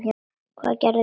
Hvað er gert við þau?